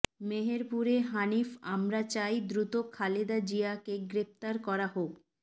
মেহেরপুরে হানিফ আমরা চাই দ্রুত খালেদা জিয়াকে গ্রেপ্তার করা হোক